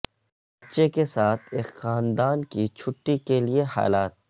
بچے کے ساتھ ایک خاندان کی چھٹی کے لئے حالات